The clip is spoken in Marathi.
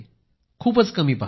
खूपच कमी पाहतो